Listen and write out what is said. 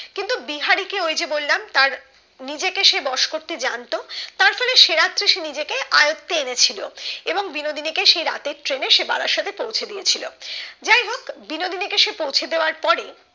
কিন্তু বিহারীকে ওই যে বললাম তার নিজে কে বস করতে জানতো তার পরে সে রাত্রে সে নিজে কে আয়ত্তে এনে ছিল এবং বিনোদনীকে সে রাত্রের ট্রেনে সে বারাসাতে পৌঁছে দিয়ে ছিল যাই হোক বিনোদিনী কে সে পৌঁছে দেওয়ার পরে